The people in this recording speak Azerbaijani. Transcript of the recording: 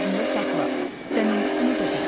Yadında saxla, sən indi bunu da bildin.